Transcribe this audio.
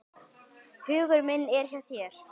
Hugur minn er hjá þér.